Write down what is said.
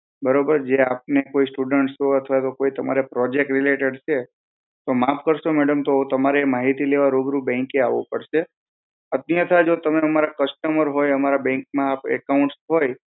બરોબર જે આપને કોઈ students છો અથવા કોઈ તમારે project related છે તો માફ કરશો madam તો તમારે આ માહિતી લેવા bank એ રૂબરૂ આવું પડશે અત્તયાથા જો તમે અમારા હોય અમારા bank માં account હોય